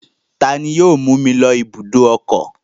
Ta ni yóò mú mi lọ ibùdó ọkọ̀?